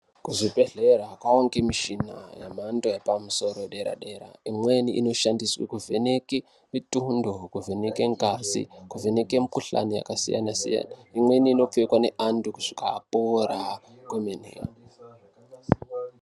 Kuzvibhedhlera kwava ngemishina yemhando yepamusoro yedera-dera. Imweni inoshandiswe kuvheneke mitundo, kuvheneke ngazi, kuvheneke mikhuhlani yakasiyana-siyana. Imweni inopfekwa neantu kusvika apora kwamene.